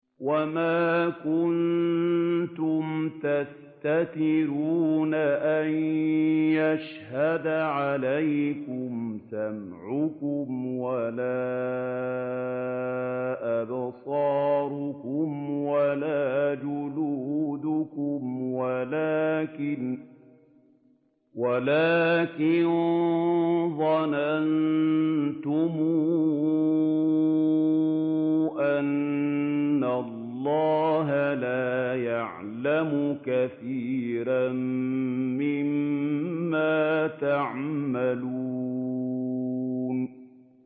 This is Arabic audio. وَمَا كُنتُمْ تَسْتَتِرُونَ أَن يَشْهَدَ عَلَيْكُمْ سَمْعُكُمْ وَلَا أَبْصَارُكُمْ وَلَا جُلُودُكُمْ وَلَٰكِن ظَنَنتُمْ أَنَّ اللَّهَ لَا يَعْلَمُ كَثِيرًا مِّمَّا تَعْمَلُونَ